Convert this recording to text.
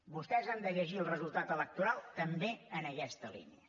vostès han de llegir el resultat electoral també en aquesta línia